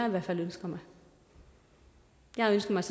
i hvert fald jeg ønsker mig jeg ønsker mig